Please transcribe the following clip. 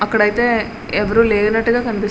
అక్కడ అయితే ఎవరూ లేనట్టుగా కనిపిస్తుంది.